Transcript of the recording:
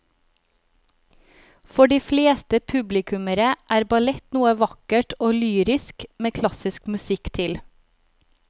For de fleste publikummere er ballett noe vakkert og lyrisk med klassisk musikk til.